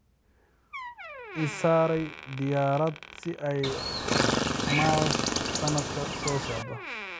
I saaray diyaarad si ay mars sanadka soo socda